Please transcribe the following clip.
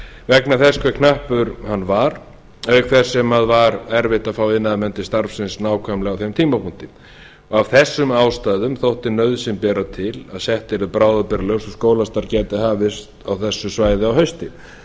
vegna þess hve knappur hann var auk þess sem var erfitt að fá iðnaðarmenn til starfsins nákvæmlega á þeim tímapunkti af þessum ástæðum þótti nauðsyn bera til að sett yrðu bráðabirgðalög svo skólastarf gæti hafist á þessu svæði um haustið